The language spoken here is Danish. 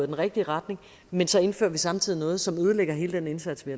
den rigtige retning men så indfører vi samtidig noget som ødelægger hele den indsats vi